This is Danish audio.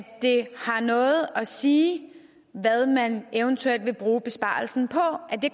at det har noget at sige hvad man eventuelt vil bruge besparelsen